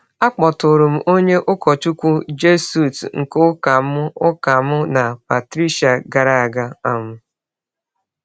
Akpọtụrụ m onye ụkọchukwu Jesuit nke ụka mụ ụka mụ na Patricia gara aga. um